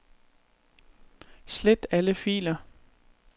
Slet alle filer.